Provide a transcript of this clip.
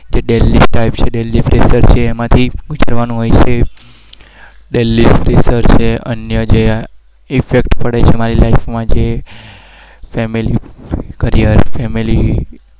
એમાંથી લેવાનો હોય છે.